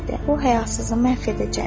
O həyasızı məhv edəcəyəm.